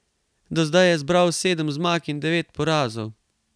Do zdaj je zbral sedem zmag in devet porazov.